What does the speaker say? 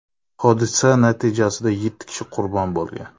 Hodisa natijasida yetti kishi qurbon bo‘lgan.